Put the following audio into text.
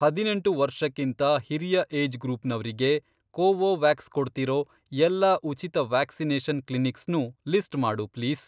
ಹದಿನೆಂಟು ವರ್ಷಕ್ಕಿಂತ ಹಿರಿಯ ಏಜ್ ಗ್ರೂಪ್ನವ್ರಿಗೆ ಕೋವೋವ್ಯಾಕ್ಸ್ ಕೊಡ್ತಿರೋ ಎಲ್ಲಾ ಉಚಿತ ವ್ಯಾಕ್ಸಿನೇಷನ್ ಕ್ಲಿನಿಕ್ಸ್ನೂ ಲಿಸ್ಟ್ ಮಾಡು ಪ್ಲೀಸ್.